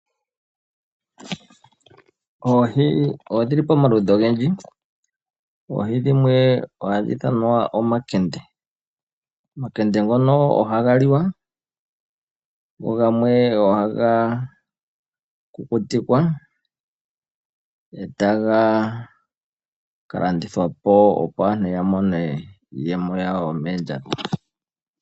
Oohi odhili pomaludhi ogendji oohi dhimwe ohadhi ithanwa omakende. Omakende ngono ohaga liwa go gamwe ohaga kukutikwa etaga ka landithwapo opo aantu ya mone iiyemo yawo yomoondjato.